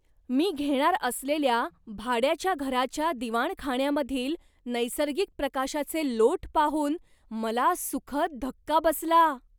मी घेणार असलेल्या भाड्याच्या घराच्या दिवाणखाण्यामधील नैसर्गिक प्रकाशाचे लोट पाहून मला सुखद धक्का बसला.